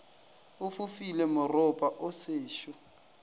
o fofile moropa o sešo